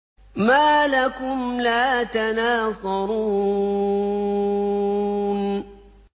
مَا لَكُمْ لَا تَنَاصَرُونَ